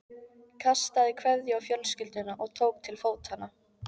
Kastaði kveðju á fjölskylduna og tók til fótanna.